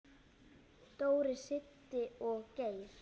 Dóri, Siddi og Geir.